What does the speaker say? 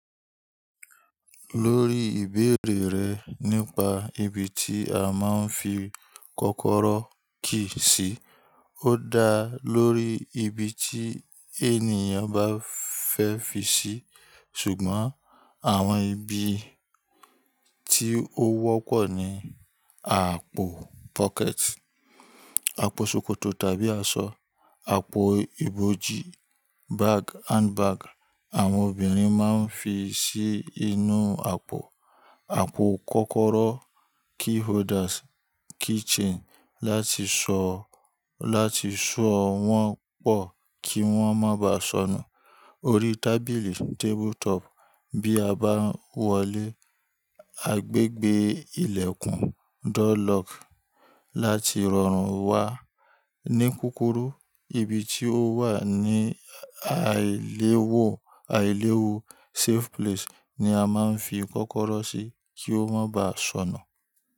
Lórí ìbéèrè rẹ̀ nípa ibi tí a máa ń fi kọ́kọ́rọ́ key sí, ó dá lórí ibi tí ènìyàn bá fẹ́ fi sí, ṣùgbọ́n àwọn ibi tí ó wọ́pọ̀ ni àpò, àpò ṣòkòtò tàbí aṣọ, àpò ibojì àwọn obìnrin máa ń fi sí inú àpò, àpò kọ́kọ́rọ́ láti ṣọ́ láti ṣọ́ wọ́n pọ̀ kí wọ́n má bà sọnù, orí tábìlì bí a bá ń wọlé, agbègbè ìlẹ̀kùn láti rọrùn wá. Ní kúrúkù, ibi tí ó wà ní àìléwu ni a máa ń fi kọ́kọ́rọ́ sí kí ó má bá sọnù.